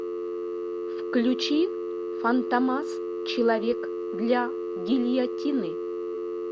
включи фантомас человек для гильотины